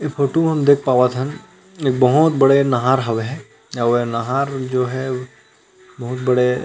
ये फोटु म हमन देख पावत थन एक बहुत बड़े नहर हवे ह अउ ए नाहर जो हे बहुत बड़े--